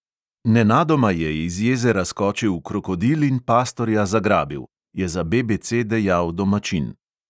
"Nenadoma je iz jezera skočil krokodil in pastorja zagrabil," je za BBC dejal domačin.